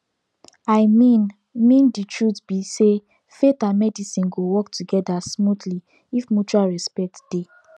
i mean mean the truth be sayfaith and medicine go work together smoothly if mutual respect dey